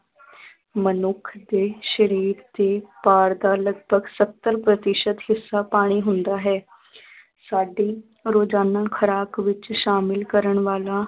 ਮਨੁੱਖ ਦੇ ਸਰੀਰ ਦੇ ਭਾਰ ਦਾ ਲਗਭਗ ਸੱਤਰ ਪ੍ਰਤੀਸ਼ਤ ਹਿੱਸਾ ਪਾਣੀ ਹੁੰਦਾ ਹੈ ਸਾਡੀ ਰੋਜ਼ਾਨਾ ਖੁਰਾਕ ਵਿੱਚ ਸ਼ਾਮਿਲ ਕਰਨ ਵਾਲਾ